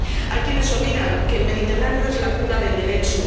Hay quienes olvidan que el Mediterráneo es la cuna del Derecho.